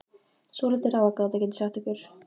Svolítil ráðgáta, get ég sagt ykkur.